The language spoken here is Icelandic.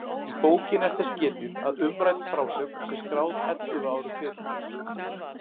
Í bókinni er þess getið að umrædd frásögn sé skráð ellefu árum fyrr.